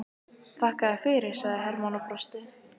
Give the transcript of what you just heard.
Þakka þér fyrir, sagði Hermann og brosti.